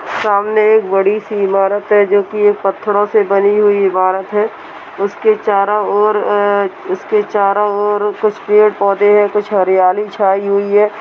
सामने एक बड़ी सी इमारत है जो कि पत्थरों से बनी हुई इमारत है। उसके चारों और अ- उसके चारो ओर कुछ पेड़ पौधे हैं कुछ हारियाली छायी हुई हैं।